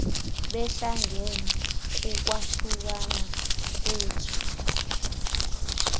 behlangene kukwahlukana kwethu